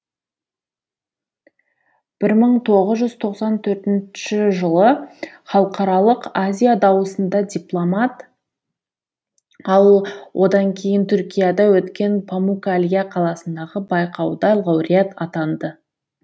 бір мың тоғыз жүз тоқсан төртінші жылы халықаралық азия дауысында дипломант ал одан кейін түркияда өткен помукалья қаласындағы байқауда лауреат атанды